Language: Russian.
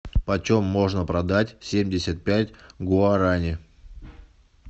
почем можно продать семьдесят пять гуарани